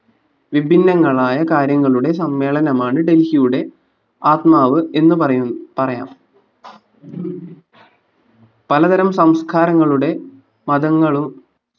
വിഭിന്നങ്ങളായ കാര്യങ്ങളുടെ സമ്മേളനമാണ് ഡൽഹിയുടെ ആത്മാവ് എന്നു പറയു പറയാം പലതരം സംസ്കാരങ്ങളുടെ മതങ്ങളു